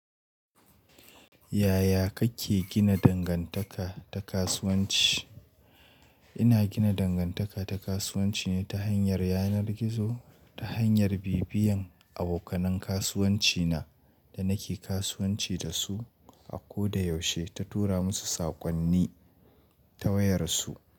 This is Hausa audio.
Yaya kake gina dangantaka ta kasuwanci? Ina gina dangantaka ta kasuwanci ne ta hanyar yanar gizo ta hanyar bibiyan abokanan kasuwanci na da nake kasuwanci da su a ko da yaushe ta tura musu saƙonni ta wayar su.